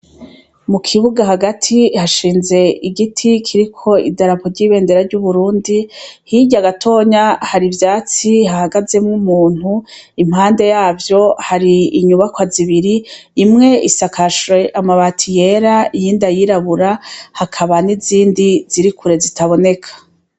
Mukibuga hagati hashinze igiti iriko idarapo ry'ibendera ry'uburundi, hirya gato ya hari ivyatsi hahagazemwo umuntu, impande yavyo hari inyubakwa z'ibiri: imwe isakajwe amabati yera ,iyindi ayirabura, hakaba n'izindi ziri kure zitaboneka.